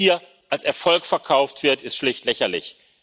Was hier als Erfolg verkauft wird, ist schlicht lächerlich!